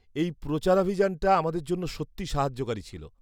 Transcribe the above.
-এই প্রচারাভিযানটা আমাদের জন্য সত্যি সাহায্যকারী ছিল।